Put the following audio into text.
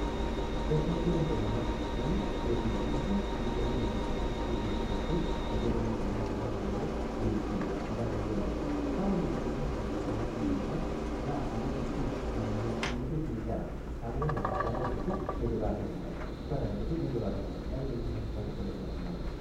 kepuoo ake ntomonok sipitali nitengen olkitari nkoitoi pooki naitumia kulo ngánayio leishoi paa woore nyamalitin sapukin naitumia ntomonok naa enaishoi inkera ketum enkerai kiti nitoki atuum engae naa ninye nyamalitin natuum intomonok